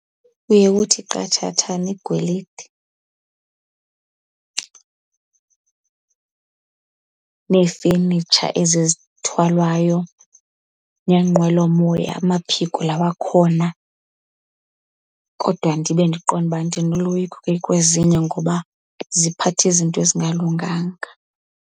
Kuye kuthi qathathana igolide neefenitsha ezi zithwalwayo, neenqwelomoya amaphiko la wakhona. Kodwa ndibe ndiqonde uba ndinoloyiko ke kwezinye ngoba ziphatha izinto ezingalunganga.